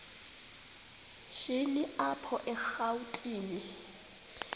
shini apho erawutini